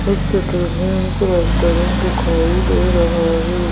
इस चित्र में हमे रेस्टोरेंट दिखाई दे रहा है.